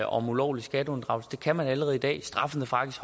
om ulovlig skatteunddragelse det kan man allerede i dag og straffen er faktisk